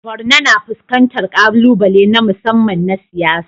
Borno na fuskantar ƙalubale na musamman na siyasa.